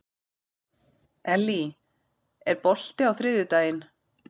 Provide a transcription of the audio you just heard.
Ellý, er bolti á þriðjudaginn?